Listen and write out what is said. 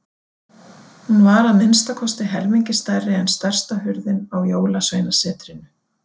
Hún var að minnsta kosti helmingi stærri en stærsta hurðin á Jólasveinasetrinu.